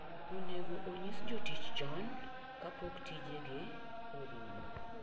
Onego onyis jotich chon kapok tijegi orumo.